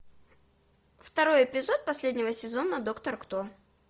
второй эпизод последнего сезона доктор кто